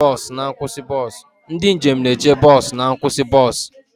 Ndị njem na-eche bọs na nkwụsị bọs.